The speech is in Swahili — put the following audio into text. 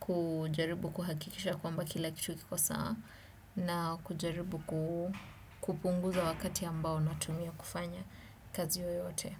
Kujaribu kuhakikisha kwamba kila kitu kiko sawa. Na kujaribu kupunguza wakati ambao natumia kufanya kazi yoyote.